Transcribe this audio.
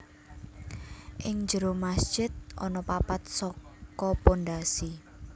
Ing jero masjid ana papat saka pondhasi